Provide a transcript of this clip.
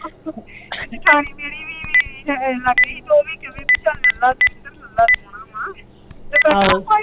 ਜਠਾਣੀ ਮੇਰੀ ਲਾਗੇ ਹੀ ਓਵੀ ਕਵੇ ਪੀ ਚੱਲ ਲਲਾ ਦਵਿੰਦਰ ਲਲਾ ਸੋਹਣਾ ਵਾ